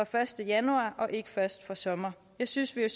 første januar og ikke først fra sommer jeg synes at